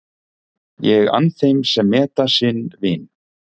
Ég ann þeim sem meta sinn vin.